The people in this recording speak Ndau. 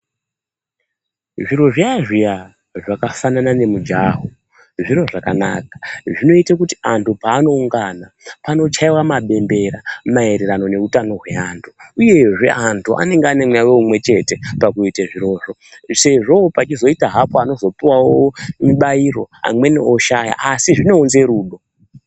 Zviro zviya zviya zvakafanana ngemujaho, zviro zvakanaka zvinoita kuti andu paanoungana panochaiwa mabembera maererano neutano hwewandu zvewanenge wane mweya umwe chete pakuite zvirozvo sezvo peizoita hapo anozopuwawo mubairo amweni oshaya asi zvinounze rudo.